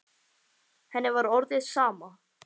Henni var orðið sama.